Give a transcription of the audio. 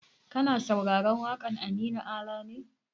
Kana sauraron waƙar Aminu Ala ne?